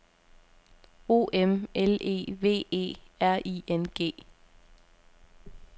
O M L E V E R I N G